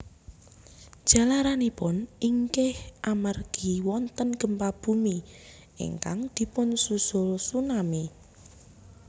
Jalaranipun inggih amargi wonten gempa bumi ingkang dipunsusul tsunami